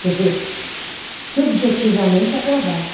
Quer dizer, subjetivamente aprovada.